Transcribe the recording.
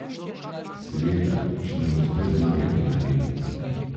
Seveda, če nam uspe zmagati na Emi.